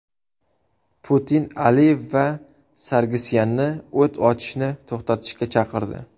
Putin Aliyev va Sargsyanni o‘t ochishni to‘xtatishga chaqirdi.